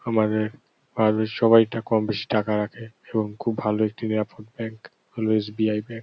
আমাদের বাড়ির সবাই এটা কম বেশি টাকা রাখে এবং খুব ভালো একটি নিরাপদ ব্যাঙ্ক হল এস.বি.আই. ব্যাংক ।